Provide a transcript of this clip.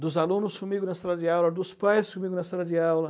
dos alunos comigo na sala de aula, dos pais comigo na sala de aula.